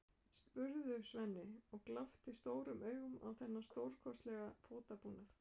spurði Svenni og glápti stórum augum á þennan stórkostlega fótabúnað.